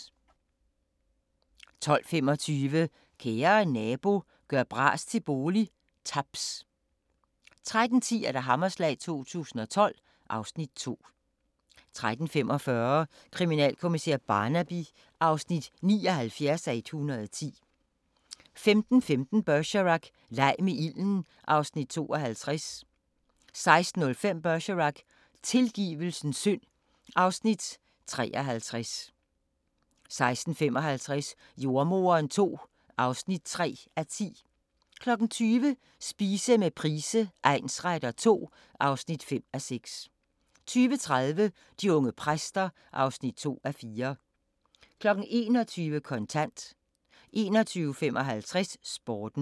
12:25: Kære nabo – gør bras til bolig – Taps 13:10: Hammerslag 2012 (Afs. 2) 13:45: Kriminalkommissær Barnaby (79:110) 15:15: Bergerac: Leg med ilden (Afs. 52) 16:05: Bergerac: Tilgivelsens synd (Afs. 53) 16:55: Jordemoderen II (3:10) 20:00: Spise med Price egnsretter II (5:6) 20:30: De unge præster (2:4) 21:00: Kontant 21:55: Sporten